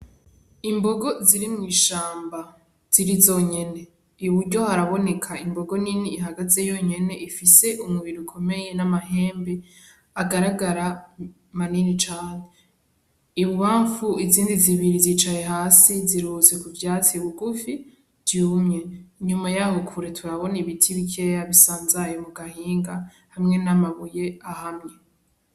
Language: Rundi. Imbogo ziri mw'imwishamba, ziri zonyene, iburyo haraboneka imbogo nini ihagazeyo yonyene ifise umubiri ukomeye n'amahembe agaragara manini cane, ibubamfu izindi zibiri zicaye hasi ziruhutse ku vyatsi bigufi vyumye, inyuma yaho kure turabona ibiti bikeya bisanzaye mugahinga hamwe n'amabuye ahamye.